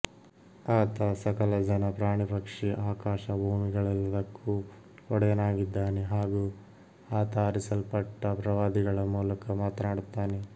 ಆತ ಸಕಲ ಜನ ಪ್ರಾಣಿಪಕ್ಷಿ ಆಕಾಶ ಭೂಮಿಗಳೆಲ್ಲದಕ್ಕೂ ಒಡೆಯನಾಗಿದ್ದಾನೆ ಹಾಗೂ ಆತ ಆರಿಸಲ್ಪಟ್ಟ ಪ್ರವಾದಿಗಳ ಮೂಲಕ ಮಾತನಾಡುತ್ತಾನೆ